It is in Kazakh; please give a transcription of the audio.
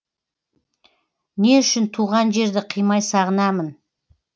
не үшін туған жерді қимай сағынамын